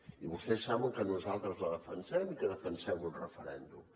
i vostès saben que nosaltres la defensem i que defensem un referèndum